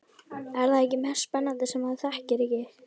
Er það ekki mest spennandi sem maður þekkir ekki?